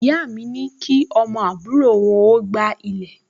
Ìyá mi ní kí ọmọ àbúrò wọn ó gbá ilẹ̀